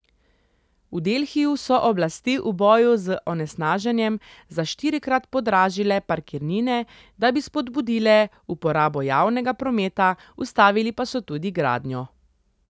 V Delhiju so oblasti v boju z onesnaženjem za štirikrat podražile parkirnine, da bi spodbudile uporabo javnega prometa, ustavili pa so tudi gradnjo.